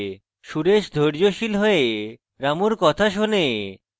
সুরেশ ধৈর্যশীল হয়ে রামুর কথা শোনে